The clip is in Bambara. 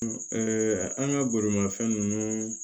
an ka bolimafɛn ninnu